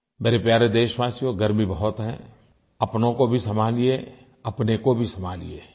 मेरे प्यारे देशवासियों गर्मी बहुत है अपनों को भी संभालिये अपने को भी संभालिये